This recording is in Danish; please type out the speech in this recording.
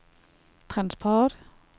transport